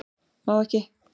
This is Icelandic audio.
Má ekki